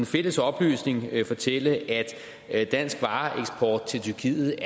fælles oplysning fortælle at dansk vareeksport til tyrkiet